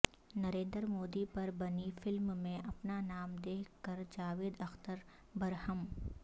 نریندر مودی پر بنی فلم میں اپنا نام دیکھ کر جاوید اختر برہم